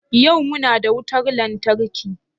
Yau muna da wutar lantarki?